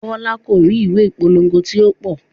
Bọlá ko ri ìwé ìpolówó ti o pọ.